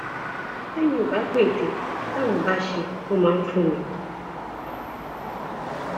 tèmi ò bá pète táwọn bá ṣẹ wọn máa fún mi